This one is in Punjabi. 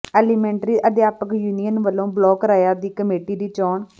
ਐਲੀਮੈਂਟਰੀ ਅਧਿਆਪਕ ਯੂਨੀਅਨ ਵਲੋਂ ਬਲਾਕ ਰਈਆ ਦੀ ਕਮੇਟੀ ਦੀ ਚੋਣ